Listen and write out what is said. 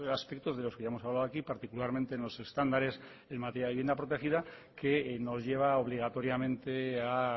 aspectos de los que ya hemos hablado aquí particularmente en los estándares en materia de vivienda protegida que nos lleva obligatoriamente a